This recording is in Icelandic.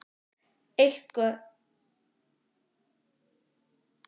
Eitthvað sem hefur rennt frekari stoðum undir það?